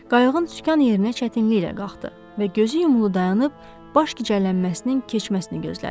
Qayıq sükan yerinə çətinliklə qalxdı və gözü yumulu dayanıb baş gicəllənməsinin keçməsini gözlədi.